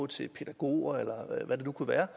til pædagoger eller hvad det nu kunne være